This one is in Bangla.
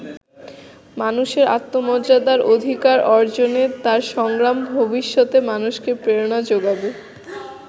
মানুষের আত্মমর্যাদার অধিকার অর্জনে তার সংগ্রাম ভবিষ্যতে মানুষকে প্রেরণা জোগাবে।